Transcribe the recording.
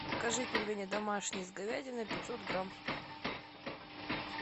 закажи пельмени домашние с говядиной пятьсот грамм